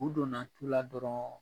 U donna tu la dɔrɔn